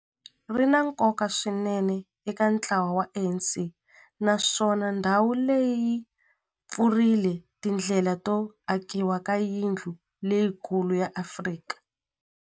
Ri na nkoka swinene eka ntlawa wa ANC, naswona ndhawu leyi yi pfurile tindlela to akiwa ka yindlu leyikulu ya Afrika.